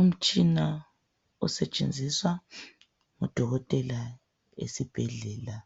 Umtshina osetshenziswa ngudokotela esibhedlela.